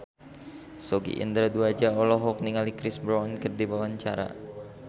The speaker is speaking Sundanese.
Sogi Indra Duaja olohok ningali Chris Brown keur diwawancara